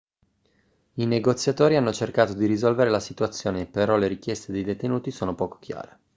i negoziatori hanno cercato di risolvere la situazione però le richieste dei detenuti sono poco chiare